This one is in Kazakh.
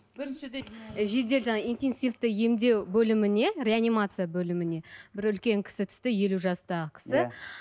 жедел жаңағы интенсивті емдеу бөліміне реанимация бөліміне бір үлкен кісі түсті елу жастағы кісі